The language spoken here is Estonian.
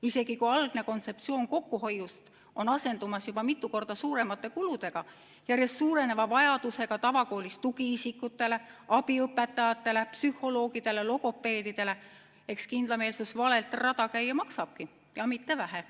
Isegi kui algne kontseptsioon kokkuhoiust on asendumas juba mitu korda suuremate kuludega, järjest suureneva vajadusega tavakoolis tugiisikutele, abiõpetajatele, psühholoogidele, logopeedidele – eks kindlameelsus vale rada käia maksabki ja mitte vähe.